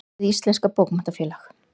Hið Íslenska Bókmenntafélag.